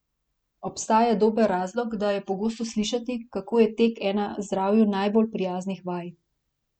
Obstaja dober razlog, da je pogosto slišati, kako je tek ena zdravju najbolj prijaznih vaj.